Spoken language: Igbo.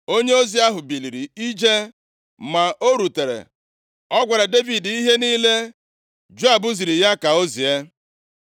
Onyeozi ahụ biliri ije, mgbe o rutere, ọ gwara Devid ihe niile Joab ziri ya ka o zie.